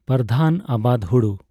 ᱯᱚᱨᱫᱷᱟᱱ ᱟᱵᱟᱫ ᱦᱩᱲᱩ